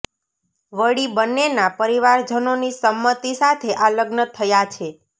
વળી બંનેના પરિવારજનોની સંમતી સાથે આ લગ્ન થયા છે